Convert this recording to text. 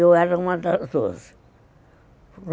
Eu era uma das doze.